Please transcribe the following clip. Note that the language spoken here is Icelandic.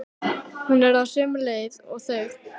Hún er á sömu leið og þau.